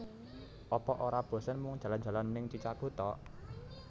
Apa ora bosen mung jalan jalan ning Chichago tok?